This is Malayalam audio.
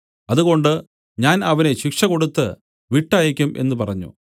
അതുകൊണ്ട് ഞാൻ അവനെ ശിക്ഷ കൊടുത്ത് വിട്ടയയ്ക്കും എന്നു പറഞ്ഞു